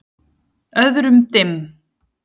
Öðrum dimm.